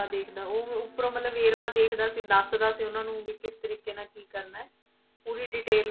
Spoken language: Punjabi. ਦੇਖਦਾ ਉਹ ਉੱਪਰ ਮਤਲਬ ਵੇਰਵਾ ਦੇਖਦਾ ਸੀ, ਦੱਸਦਾ ਸੀ ਉਹਨਾਂ ਨੂੰ ਵੀ ਕਿਸ ਤਰੀਕੇ ਨਾਲ ਕੀ ਕਰਨਾ ਹੈ, ਪੂਰੀ detail